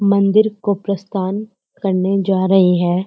मंदिर को प्रस्थान करने जा रहे हैं।